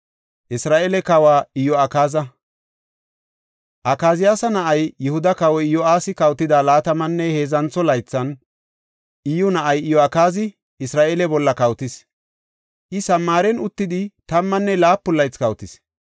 Akaziyaasa na7ay, Yihuda Kawoy Iyo7aasi kawotida laatamanne heedzantho laythan, Iyyu na7ay Iyo7akaazi Isra7eele bolla kawotis; I Samaaren uttidi tammanne laapun laythi kawotis.